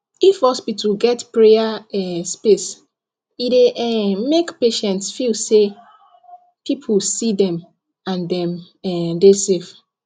if hospital get prayer um space e dey um make patients feel say people see dem and dem um dey safe